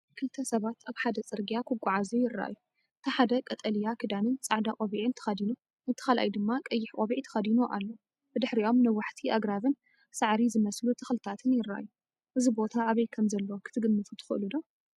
ክልተ ሰባት ኣብ ሓደ ጽርግያ ክጓዓዙ ይረኣዩ። እቲ ሓደ ቀጠልያ ክዳንን ጻዕዳ ቆቢዕን ተኸዲኑ፡ እቲ ካልኣይ ድማ ቀይሕ ቆቢዕ ተኸዲኑ ኣሎ። ብድሕሪኦም ነዋሕቲ ኣግራብን ሳዕሪ ዝመስሉ ተኽልታትን ይረኣዩ። እዚ ቦታ ኣበይ ከምዘሎ ክትግምቱ ትኽእሉ ዶ?